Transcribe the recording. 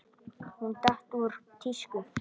Hún datt úr tísku.